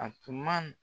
A tun man